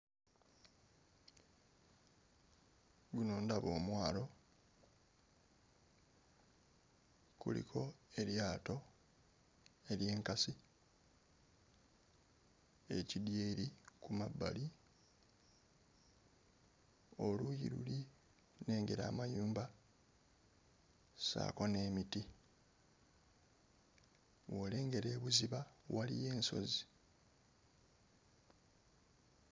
Guno ndaba omwalo kuliko eryato ery'enkasi, ekidyeri ku mabbali, oluuyi luli nnengera amayumba ssaako n'emiti, bw'olengera ebuziba waliyo ensozi.